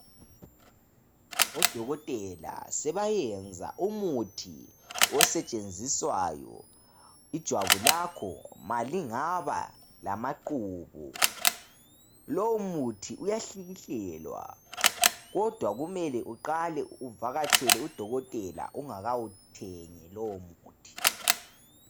Odokotela sebayenza umuthi osetshenziswayo ijwabu lakho malingaba lamaqubu lomuthi uyahlikihlelwa kodwa kumele uqale uvakatshele udokotela ungakawuthengi lowomuthi.